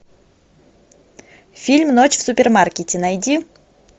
фильм ночь в супермаркете найди